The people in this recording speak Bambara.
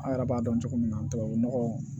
An yɛrɛ b'a dɔn cogo min na tubabu nɔgɔ